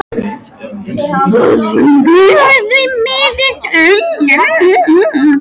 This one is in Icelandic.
Það geri ég því miður stundum.